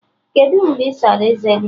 Kedụ mgbe ị sara eze gi?